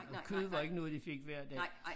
Og kød var ikke noget de fik hver dag